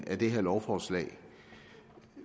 af det her lovforslag